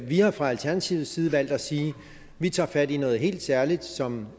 vi har fra alternativets side valgt at sige vi tager fat i noget helt særligt som